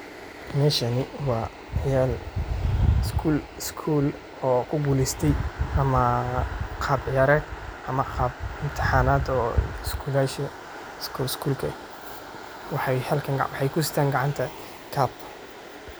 Meeshani waa ciyaal iskuul oo kuguleysteey ama qaab ciyareed ama qaab mitihanaad oo iskulashaa iskul iskulka eh , maxay kusitaan gacanta cup.